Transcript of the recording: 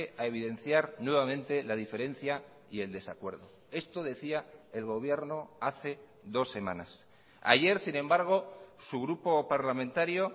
a evidenciar nuevamente la diferencia y el desacuerdo esto decía el gobierno hace dos semanas ayer sin embargo su grupo parlamentario